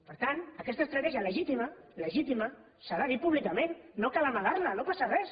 per tant aquesta estratègia legítima legítima s’ha de dir públicament no cal amagar la no passa res